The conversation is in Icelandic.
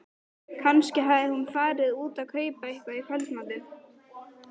Kannski hafði hún farið út að kaupa eitthvað í kvöldmatinn.